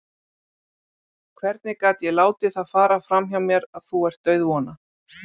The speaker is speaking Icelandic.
Hvernig gat ég látið það fara fram hjá mér að þú ert dauðvona?